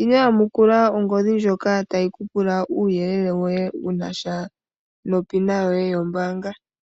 Ino yamukula ongodhi ndjoka tayi kupula uuyelele woye wunasha nopina yoye yombaanga.